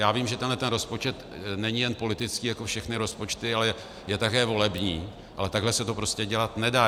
Já vím, že tenhle rozpočet není jen politický jako všechny rozpočty, ale je také volební, ale takhle se to prostě dělat nedá.